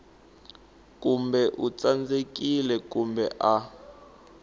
kumbe u tsandzekile kumbe a